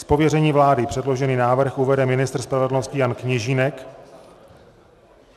Z pověření vlády předložený návrh uvede ministr spravedlnosti Jan Kněžínek.